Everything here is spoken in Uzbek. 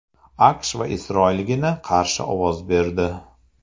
AQSh va Isroilgina qarshi ovoz berdi.